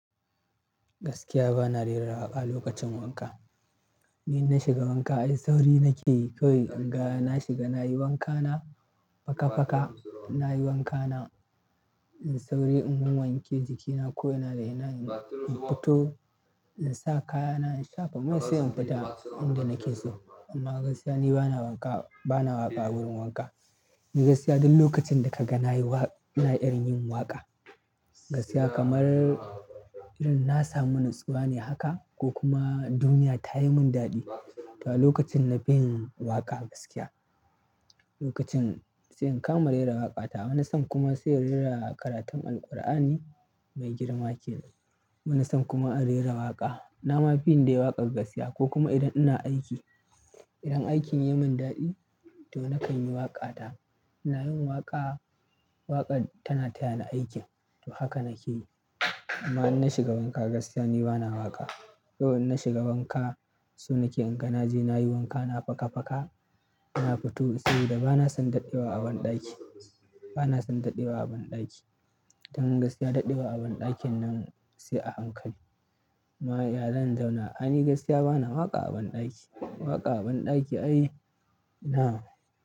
Gaskiya bana rera waƙa lokacin wanka. Ni in na shiga wanka ai sauri nakeyi kawai inga na shiga, nayi wankana faka-faka, nayi wankana in sauri in wanwanke jikina ko ina da ina in fito, in sa kayana in shafa mai sai in fita inda nake so. Amma gaskiya ni bana wanka, bana waƙa wurin wanka. Eh gaskiya duk lokacin da kaga nayi wa ina irin yin waƙa. Gaskiya kamar irin na samu natsuwa ne haka ko kuma duniya tayi min daɗi, to a lokacin na fi yin waƙa gaskiya. Lokacin sai in kama rera waƙa ta. Wani sa'an kuma sai rera karatun Alƙur'ani mai girma kenan. Wani san kuma a rera waƙa. Nama fi yin dai waƙar gaskiya ko kuma idan ina aiki. Idan aikin yayi mun daɗi, to nakanyi waƙata. Ina yin waƙa, waƙar tana tayani aikin, to haka nake yi amma in nashiga wanka gaskiya ni bana waƙa. Kawai in na shiga wanka, so nake inga naje nayi wankana faka-faka, na fito saboda bana son daɗewa a ban ɗaki. Bana son daɗewa a ban ɗaki. Dan gaskiya daɗewa a ban ɗakin nan sai a hankali. Amma iya zan zauna. A'a ni gaskiya bana waƙa a banɗaki. Waƙa a banɗaki ai ina.